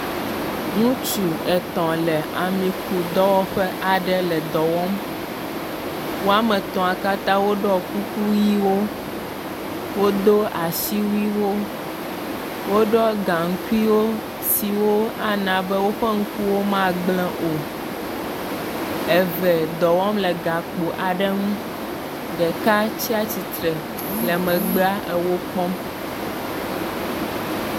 Ŋutsu etɔ̃ le amikudɔwɔƒe aɖe le dɔ wɔm. Wo ame etɔ̃a katã woɖɔ kuku ʋɛ̃wo, wodo asiwuiwo, woɖɔ gaŋkuiwo siwo ana be woƒe ŋkuwo magblẽ o. Eve dɔ wɔm le gakpo aɖe ŋu, ɖeka tsatsitre le megbea le wo kpɔm.